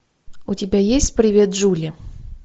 у тебя есть привет джули